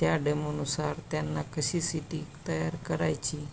त्या डेमो नुसार त्यांना कशी सिटी तयार करायची--